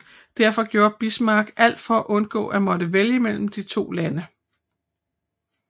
Derfor gjorde Bismarck alt for at undgå at måtte vælge mellem de to lande